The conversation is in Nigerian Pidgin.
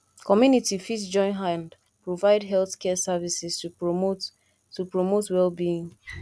community fit join hand provide health care services to promote to promote well being